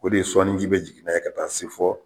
O de ye sɔɔni ji bɛ jigin n'a ye ka taa se fɔ